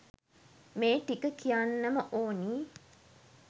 මේ ටික කියන්නම ඕනි